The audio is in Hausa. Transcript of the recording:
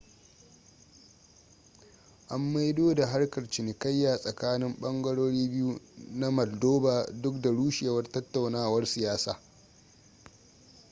an maido da harkar cinikayya tsakanin bangarori biyu na maldova duk da rushewar tattaunawar siyasa